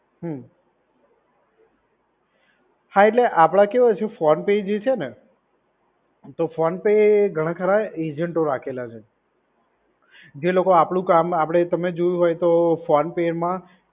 હમ્મ. હા એટલે આપડે કેવું છે, ફોન પે જે છે ને, તો ફોન પે ઘણા ખરા એજન્ટો રાખેલા છે. જે લોકો આપડું કામ આપડે તમે જોયું હોય તો ફોન પે માં